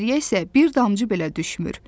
İçəriyə isə bir damcı belə düşmür.